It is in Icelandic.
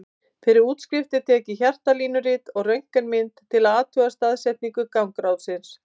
Fyrir útskrift er tekið hjartalínurit og röntgenmynd til að athuga staðsetningu gangráðsins.